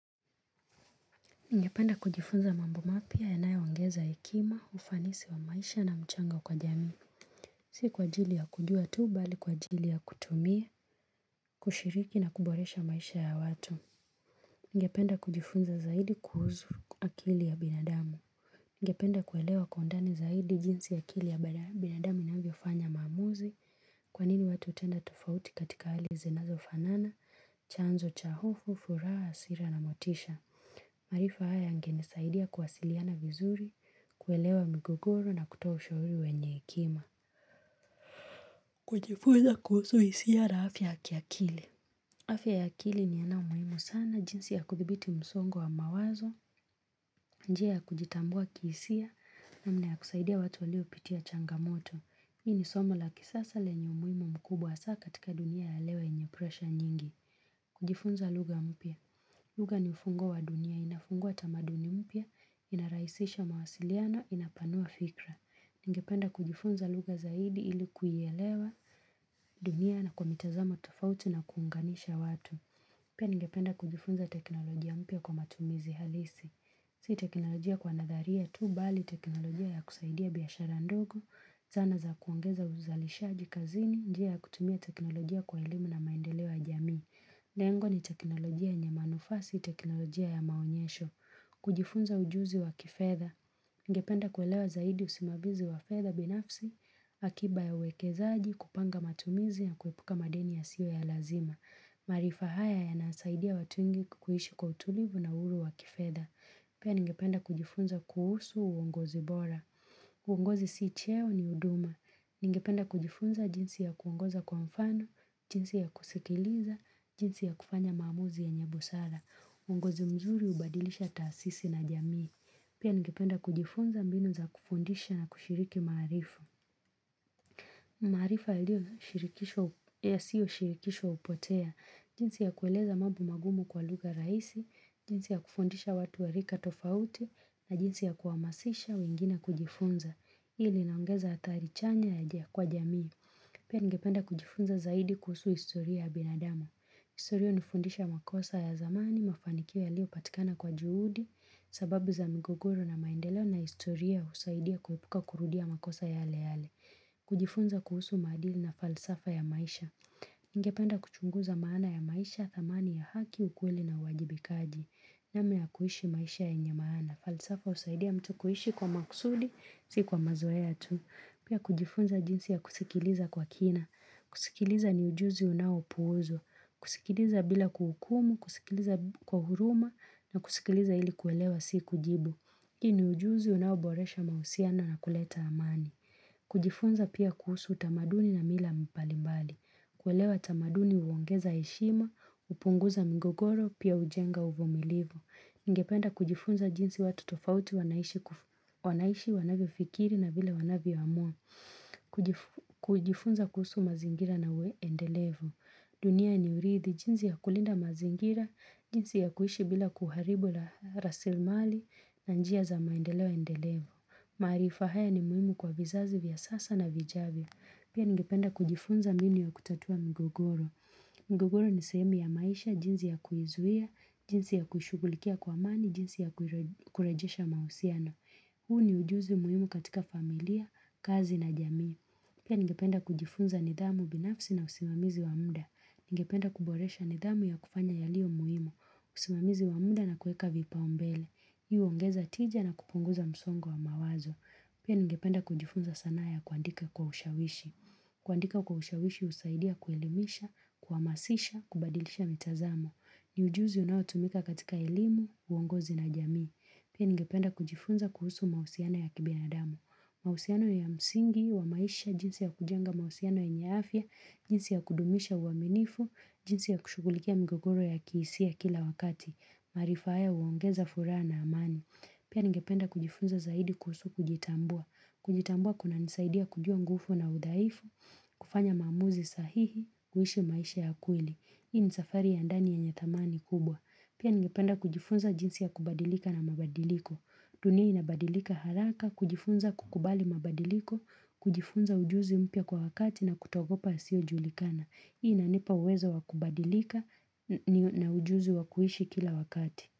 Ningependa kujifunza mambo mapya yanayoongeza hekima, ufanisi wa maisha na mchanga kwa jamii. Si kwa ajili ya kujua tuu bali kwa ajili ya kutumia, kushiriki na kuboresha maisha ya watu. Ningependa kujifunza zaidi kuhusu akili ya binadamu. Ningependa kuelewa kwa undani zaidi jinsi akili ya binadamu inavyo fanya maamuzi kwa nini watu hutenda tofauti katika hali zinazo fanana, chanzo, cha hofu, furaha, hasira na motisha. Maarifa haya yangenisaidia kuwasiliana vizuri, kuelewa migogoro na kutoa ushahuri wenye hekima. Kujifuza kuhusu hisia na afya ya kiakili. Afya ya akili ni yamuimu sana jinsi ya kudhibiti msongo wa mawazo, njia ya kujitambua kihisia na mna ya kusaidia watu waliopitia changamoto. Hii ni somo la kisasa lenye umhimu mkubwa hasa katika dunia ya leo yenye presha nyingi. Kujifunza lugha mpya. Lugha ni ufungo wa dunia. Inafungua tamaduni mpya, inarahisisha mawasiliano, inapanua fikra. Ningependa kujifunza lugha zaidi ilikuielewa, dunia na kwa mitazamo tofauti na kuunganisha watu. Pia ningependa kujifunza teknolojia mpya kwa matumizi halisi. Si teknolojia kwa nadharia tu, bali teknolojia ya kusaidia biashara ndogo, zana za kuongeza uzalisha kazini, njia ya kutumia teknolojia kwa elimu na maendeleo ya jamii. Lengo ni teknolojia yenye manufaa si, teknolojia ya maonyesho. Kujifunza ujuzi wa kifedha. Ningependa kuelewa zaidi usimamizi wa fedha binafsi, akiba ya uwekezaaji kupanga matumizi na kuepuka madeni yasiyo ya lazima. Maarifa haya ya nasaidia watu wengi kuhishi kwa utulivu na uhuru wa kifedha. Pia ningependa kujifunza kuhusu uongozi bora. Uongozi si cheo ni huduma. Ningependa kujifunza jinsi ya kuongoza kwa mfano, jinsi ya kusikiliza, jinsi ya kufanya mamuzi yenye busara uongozi mzuri ubadilisha taasisi na jamii. Pia ningependa kujifunza mbinu za kufundisha na kushiriki maarifu. Marifa yaliyo shirikisho hupotea. Jinsi ya kueleza mambo magumu kwa lugha rahisi, jinsi ya kufundisha watu warika tofauti, na jinsi ya kuamasisha wengine kujifunza. Ili naongeza hatari chanya ya jia kwa jamii. Pia ningependa kujifunza zaidi kuhusu historia ya binadamu. Historia unifundisha makosa ya zamani, mafanikio yalio patikana kwa juhudi, sababu za mgogoro na maendeleo na historia usaidia kuhepuka kurudia makosa yale yale. Kujifunza kuhusu maadili na falsafa ya maisha. Ningependa kuchunguza maana ya maisha, thamani ya haki, ukweli na uwajibikaji. Namna ya kuhishi maisha yenye maana. Falsafa husaidia mtu kuhishi kwa makusudi, si kwa mazoea tu. Pia kujifunza jinsi ya kusikiliza kwa kina. Kusikiliza ni ujuzi unao puuzwa. Kusikiliza bila kuhukumu, kusikiliza kwa huruma na kusikiliza ili kuelewa si kujibu. Hii ni ujuzi unaoboresha mahusiano na kuleta amani. Kujifunza pia kuhusu utamaduni na mila mbalimbali. Kuelewa utamaduni huongeza heshima, upunguza migogoro, pia ujenga uvumilivu Ningependa kujifunza jinsi watu tofauti wanaishi wanavyo fikiri na vile wanavyo amua. Kujifunza kuhusu mazingira na endelevu dunia ni uridhi, jinsi ya kulinda mazingira, jinsi ya kuishi bila kuharibu la rasilimali na njia za maendeleo endelevu maarifa haya ni muhimu kwa vizazi vya sasa na vijavyo Pia ningependa kujifunza mbinu ya kutatua mgogoro mgogoro ni sehemu ya maisha, jinsi ya kuizuia, jinsi ya kushughulikia kwa amani, jinsi ya kurejesha mahusiano huu ni ujuzi muhimu katika familia, kazi na jamii. Pia ningependa kujifunza nidhamu binafsi na usimamizi wa muda. Ningependa kuboresha nidhamu ya kufanya yalio muhimu. Usimamizi wa muda na kueka vipaumbele. Hii huongeza tija na kupunguza msongo wa mawazo. Pia ningependa kujifunza sanaa ya kuandika kwa ushawishi. Kuandika kwa ushawishi usaidia kuelimisha, kuamasisha, kubadilisha mitazamo. Ni ujuzi unao tumika katika elimu, uongozi na jamii. Pia ningependa kujifunza kuhusu mahusiano ya kibinadamu mahusiano ya msingi, wa maisha, jinsi ya kujenga mahusiao yenye afya, jinsi ya kudumisha uaminifu, jinsi ya kushugulikia mgogoro ya kihisia kila wakati. Maarifa haya uongeza furaha na amani. Pia ningependa kujifunza zaidi kuhusu kujitambua. Kujitambua kuna nisaidia kujua ngufu na udhaifu, kufanya maamuzi sahihi, kuhishi maisha ya kweli. Hii ni safari ya ndani yenye thamani kubwa. Pia ningependa kujifunza jinsi ya kubadilika na mabadiliko. Dunia inabadilika haraka, kujifunza kukubali mabadiliko, kujifunza ujuzi mpya kwa wakati na kutoogopa yasio julikana. Hii inanipa uwezo wa kubadilika na ujuzi wakuishi kila wakati.